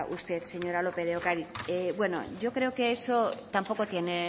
usted señora lópez de ocariz bueno yo creo que eso tampoco tiene